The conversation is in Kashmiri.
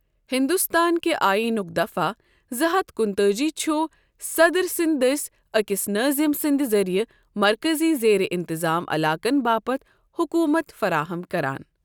ہِنٛدُستان کہِ ٲییٖنُک دفعہ زٕ ہتھ کُنہٕ تٲجی چُھ صدر سٕنٛدِ دٔسۍ أکِس نٲظِم سٕنٛدِ ذٔریعہٕ مركزی زیرِ اِنتطام علاقن باپت حُکوٗمت فَراہم کَران۔